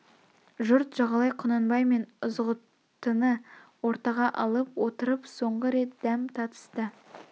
жұрт жағалай құнанбай мен ызғұттыны ортаға алып отырып соңғы рет дәм татысты